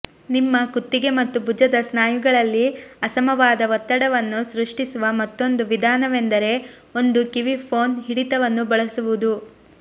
ನಿಮ್ಮ ಕುತ್ತಿಗೆ ಮತ್ತು ಭುಜದ ಸ್ನಾಯುಗಳಲ್ಲಿ ಅಸಮವಾದ ಒತ್ತಡವನ್ನು ಸೃಷ್ಟಿಸುವ ಮತ್ತೊಂದು ವಿಧಾನವೆಂದರೆ ಒಂದು ಕಿವಿ ಫೋನ್ ಹಿಡಿತವನ್ನು ಬಳಸುವುದು